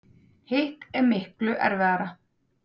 Hitt er miklu erfiðara.